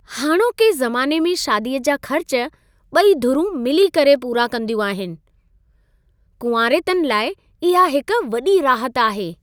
हाणोके ज़माने में शादीअ जा ख़र्च ॿई धुरुं मिली करे पूरा कंदियूं आहिनि। कुंवारेतनि लाइ इहा हिक वॾी राहति आहे।